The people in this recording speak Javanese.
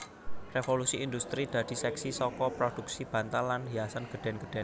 Revolusi Indhustri dadi seksi saka prodhuksi bantal lan hiasan gedhèn gedhèn